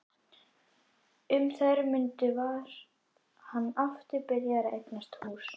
Um þær mundir var hann aftur byrjaður að eignast hús.